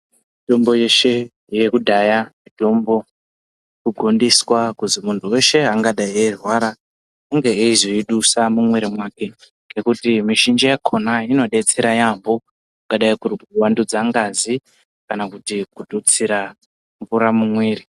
Mutombo yeshe yekudhaya mutombo ino gondeswa kuti muntu weshe angadai eyi rwara unge eyizo dusa mu mwiri make kuti mi zhinji yakona ino detsera yambo kungadai kuri ku wandudza ngazi kana kuti ku tutsira mvura mu mwiri.